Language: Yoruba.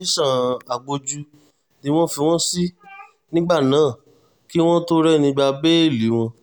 tẹ̀sán agbójú ni wọ́n fi wọ́n sí nígbà náà kí wọ́n tóó rẹ́ni gba bẹ́ẹ́lí wọn